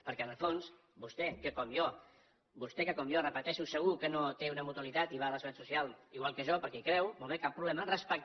perquè en el fons vostè que com jo vostè que com jo ho repeteixo segur que no té una mutualitat i va a la seguretat social igual que jo perquè hi creu molt bé cap problema respecta